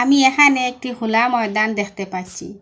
এখানে একটি খুলা ময়দান দেখতে পাচ্ছি।